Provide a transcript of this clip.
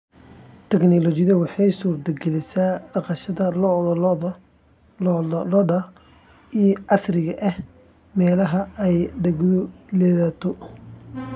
Tiknoolajiyadu waxay suurtagelisay dhaqashada lo'da lo'da ee casriga ah ee meelaha ay daaqgu liidato.